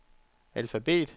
alfabet